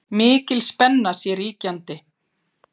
Mikil spenna sé ríkjandi